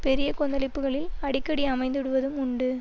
பெரிய கொந்தளிப்புக்களில் அடிக்கடி அமைந்துவிடுவதும் உண்டு